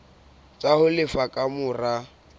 tsa ho lefa ka mora